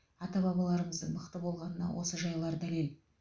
ата бабаларымыздың мықты болғанына осы жайлар дәлел